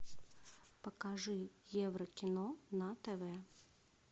покажи еврокино на тв